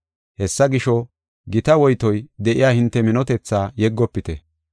Hessa gisho, gita woytoy de7iya hinte minotethaa yeggofite.